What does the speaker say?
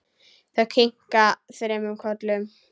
Þau kinka þremur kollum.